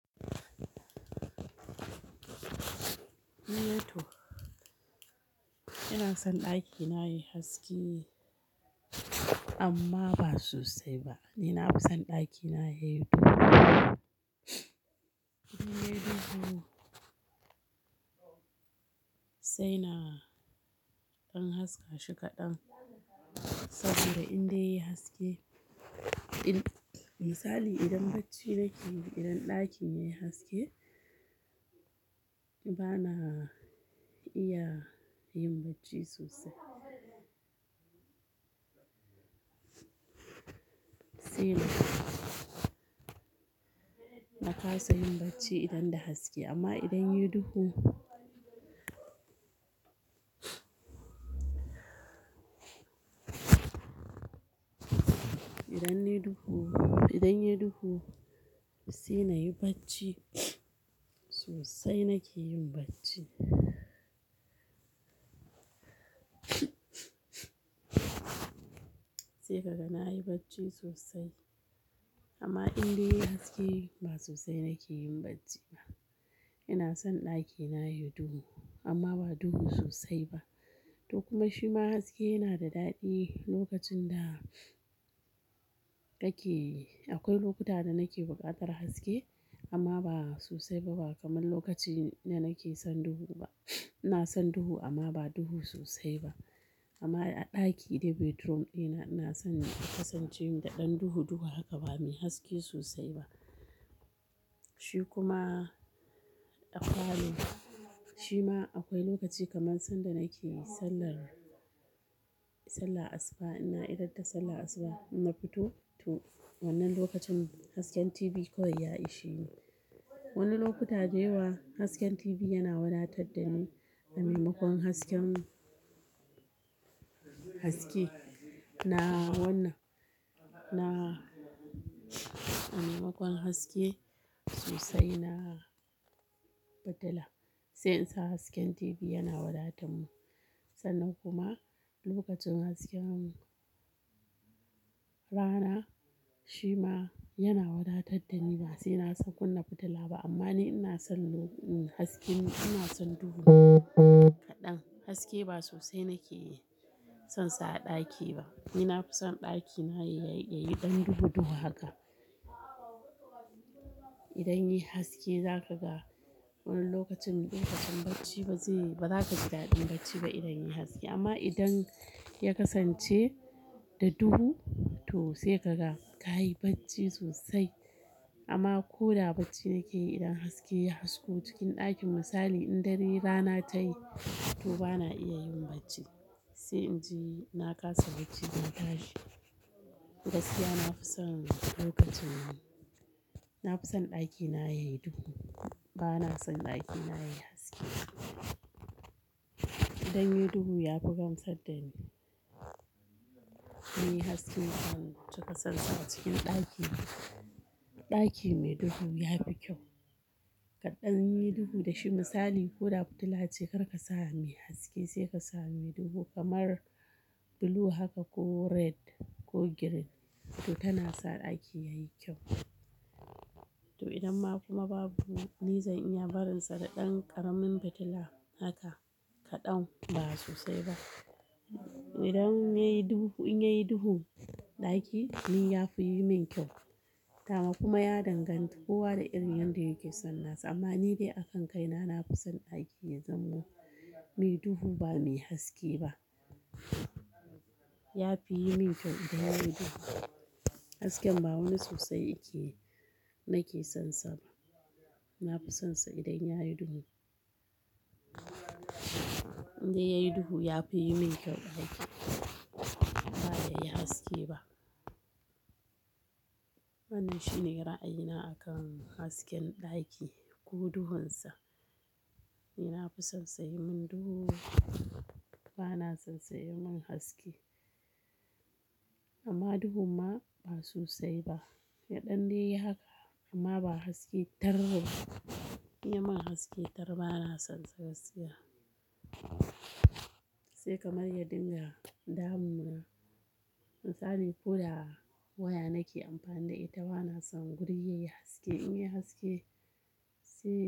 Ina son ɗakina yayi haske amma ba sosai ba. Ni nafison ɗakina yayi duhu. In yayi duhu saina ɗan haska shi kaɗan saboda indai yayi haske, misali idan bacci nake yi, idan ɗakin yayi haske bana iya yin bacci sosai. Saina kasa yin bacci idan da haske amma idan yayi duhu, idan yayi duhu sai na yi bacci sosai nake yin bacci. Sai kaga na yi bacci sosai amma indai yayi haske ba sosai nake yin bacci ba. Ina son ɗakina yayi duhu amma ba duhu sosai ba. To kuma shima haske yana da daɗi lokacin da ake Akwai lokuta da nake buƙatar haske amma ba sosai ba kamar lokacin da nake son duhu ba. Ina son duhu amma ba duhu sosai ba. Amma a ɗaki dai bedroom dina ina son kasancewa da ɗan duhu duhu haka ba mai haske sosai ba. Shi kuma a parlour, shima akwai lokaci kamar sanda nake sallar, sallar asuba. Inna idar da sallar asuba idan na fito to wannan lokacin hasken TV kawai ya ishe ni. Wasu lokutan dayawa hasken TV yana wadatar da ni. A maimakon hasken, haske na wannan, na a maimakon haske sosai na fitila sai in sa hasken TV yana wadatar mun. Sannan kuma lokacin hasken rana shima yana wadatar dani. Basai na kunna fitila ba amma ni ina son haske, ina son duhu kaɗan. Hasake ba sosai nake sonsa a ɗaki ba. Ni na fi son ɗakina yayi ɗan duhu duhu haka. Idan yayi haske zakaga wani lokacin, lokacin bacci, ba zaka ji daɗin bacci ba idan yayi haske amma idan ya kasance da duhu to sai kaga kayi bacci sosai. Amma koda bacci nake yi idan haske ya hasko cikin ɗakin misali in rana tayi to bana iya yin bacci sai inji na kasa bacci zan tashi. Gaskiya nafi son lokacin nan. Na fi son ɗakina yayi duhu. Bana son ɗakina yayi haske. Idan yayi duhu ya fi gamsar dani. Ni haske ban cika sonsa a cikin ɗaki ba. Ɗaki mai duhu yafi kyau. Kaɗanyi duhu da shi misali ko da fitila ce karka sa mai haske saika sa mai duhu kamar blue haka ko red ko green to tana sa ɗaki yayi kyau. To idan ma kuma babu, ni zan iya barinsa da ɗan ƙaramin fitila haka kaɗan ba sosai ba. Idan yayi duhu, in yayi duhu ɗaki ni yafi yimin kyau. Kuma ya danganta kowa da irin yanda yake son nasa amma ni dai akan kai na, na fi son ɗaki ya zamo mai duhu ba mai haske ba. Yafi yimin kyau idan yayi duhu. Hasken ba wani sosai yake, nake sonsa ba. Nafi sonsa idan yayi duhu. Indai yayi duhu yafi yimin kyau ɗaki ba yayi haske ba. Wannan shine ra'ayina akan hasken ɗaki ko duhunsa. Ni nafi sonsa yayi min duhu. Bana sonsa yayi min haske amma duhun ma ba sosai ba. Ya ɗan daiyi haka amma ba haske tar ba. In yayi min haske tar bana sonsa gaskiya. Sai kamar ya dinga damuna. Misali ko da waya nake amfani da ita bana son guri yayi haske. In yayi haske sai.